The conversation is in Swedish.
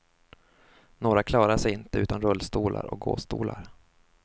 Några klarar sig inte utan rullstolar och gåstolar.